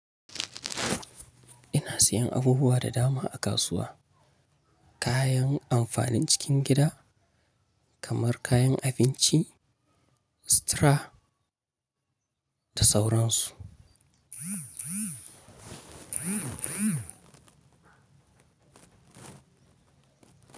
Ina sayan abubuwa da dama a kasuwa, kayan amfanin cikin gida kamar kayan abinci, sutura da sauransu.